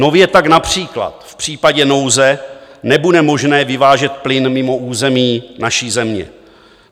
Nově tak například v případě nouze nebude možné vyvážet plyn mimo území naší země.